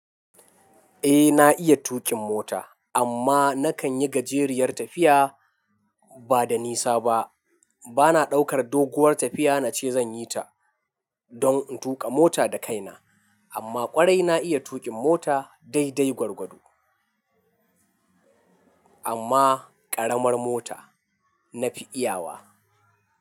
Eh na iya tuƙin mota amma na kan yi gajeriyar tafiya ba da nisa ba. Bana ɗaukar doguwar tafiya na ce zan yi ta don in tuƙa mota da kaina amma ƙwarai na iya tuƙin mota dai dai gwargwado. Amma ƙaramar mota na fi iyawa.